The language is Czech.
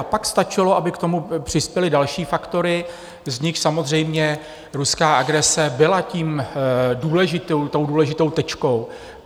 A pak stačilo, aby k tomu přispěly další faktory, z nichž samozřejmě ruská agrese byla tou důležitou tečkou.